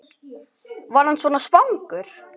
Var hann svona svangur?